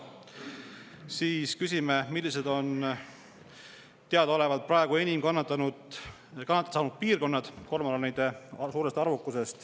Siis küsime, millised on teadaolevalt praegu kormoranide suurest arvukusest enim kannatada saanud piirkonnad.